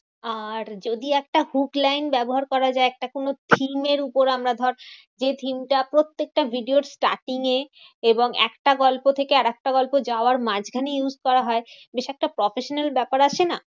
আর যদি একটা hook line ব্যবহার করা যায়। একটা কোনো theme এর উপর আমরা ধর যে theme টা প্রত্যেকটা video র starting এ এবং একটা গল্প থেকে আরেকটা গল্প যাওয়ার মাঝখানে use করা হয়। বেশ একটা professional ব্যাপার আসে না?